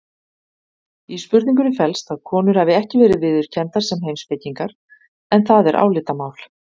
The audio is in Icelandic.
Í spurningunni felst að konur hafi ekki verið viðurkenndar sem heimspekingar en það er álitamál.